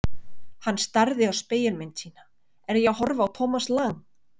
Hann starði á spegilmynd sína: Er ég að horfa á Thomas Lang?